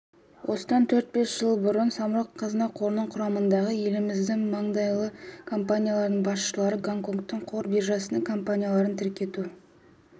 осыдан төрт-бес жыл бұрын самұрық-қазына қорының құрамындағы еліміздің маңдайалды компанияларының басшылары гонконгтың қор биржасына компанияларын тіркету